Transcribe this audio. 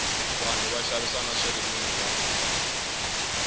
vanhu va xavisa na swirinwiwa